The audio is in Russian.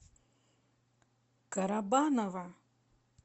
карабаново